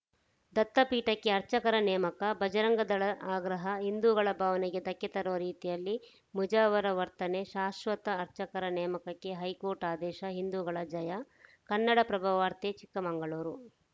ದತ್ತಪೀಠಕ್ಕೆ ಅರ್ಚಕರ ನೇಮಕ ಬಜರಂಗದಳ ಆಗ್ರಹ ಹಿಂದೂಗಳ ಭಾವನೆಗೆ ಧಕ್ಕೆ ತರುವ ರೀತಿಯಲ್ಲಿ ಮುಜಾವರ ವರ್ತನೆ ಶಾಶ್ವತ ಅರ್ಚಕರ ನೇಮಕಕ್ಕೆ ಹೈಕೋರ್ಟ್‌ ಆದೇಶ ಹಿಂದೂಗಳ ಜಯ ಕನ್ನಡಪ್ರಭವಾರ್ತೆ ಚಿಕ್ಕಮಂಗಳೂರು